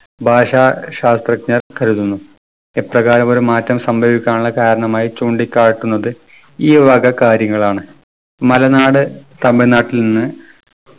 ഭാഷാ ശാസ്ത്രജ്ഞർ കരുതുന്നു. ഇപ്രകാരം ഒരു മാറ്റം സംഭവിക്കാനുള്ള കാരണമായി ചൂണ്ടിക്കാട്ടുന്നത് ഈ വക കാര്യങ്ങളാണ്. മലനാട് തമിഴ്‌നാട്ടിൽ നിന്ന്